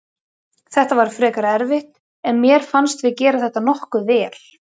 Þetta var frekar erfitt en mér fannst við gera þetta nokkuð vel.